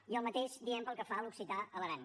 i el mateix diem pel que fa a l’occità a l’aran